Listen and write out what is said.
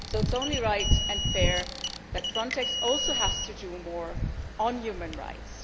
So it is only right and fair that Frontex also has to do more on human rights.